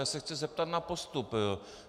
Já se chci zeptat na postup.